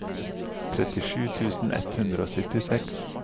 trettisju tusen ett hundre og syttiseks